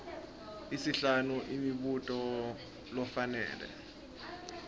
isihlanu imibuto lofanele